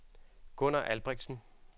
Gunnar Albrechtsen